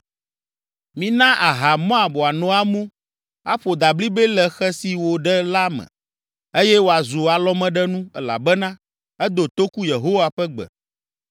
“Mina aha Moab wòano amu, aƒo dablibɛ le xe si wòɖe la me, eye wòazu alɔmeɖenu, elabena edo toku Yehowa ƒe gbe.